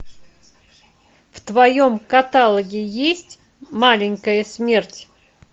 в твоем каталоге есть маленькая смерть